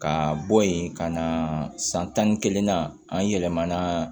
Ka bɔ yen ka na san tan ni kelen na an yɛlɛmana